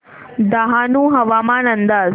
डहाणू हवामान अंदाज